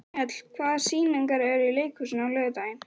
Mjöll, hvaða sýningar eru í leikhúsinu á laugardaginn?